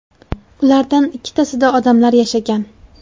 Ulardan ikkitasida odamlar yashagan.